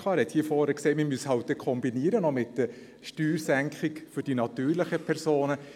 Er hat hier vorne gesagt, man müsse es dann halt kombinieren, auch mit der Steuersenkung für die natürlichen Personen.